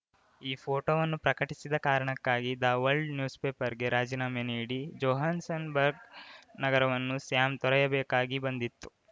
ಈ ಫೋಟೋವನ್ನು ಪ್ರಕಟಿಸಿದ ಕಾರಣಕ್ಕಾಗಿ ದ ವರ್ಲ್ಡ್ ನ್ಯೂಸ್‌ಪೇಪರ್‌ಗೆ ರಾಜೀನಾಮೆ ನೀಡಿ ಜೊಹಾನ್ಸನ್ ಬರ್ಗ್‌ ನಗರವನ್ನು ಸ್ಯಾಮ್‌ ತೊರೆಯಬೇಕಾಗಿ ಬಂದಿತ್ತು